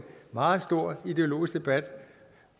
meget stor ideologisk debat